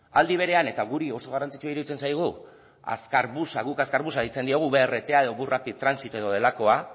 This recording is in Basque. aldi berean eta guri oso garrantzitsua iruditzen zaigu azkar busa guk azkar busa deitzen diogu brt edo bus rapid transit edo delakoa